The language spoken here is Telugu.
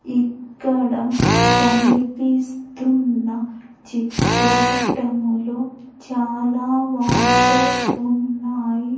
ఇక్కడ కనిపిస్తున్న చిత్ర పటములో చాలా వాటర్ ఉన్నాయి.